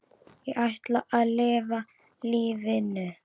Ég ætla að lifa lífinu.